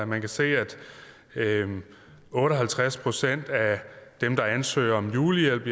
man kan se at otte og halvtreds procent af dem der ansøger om julehjælp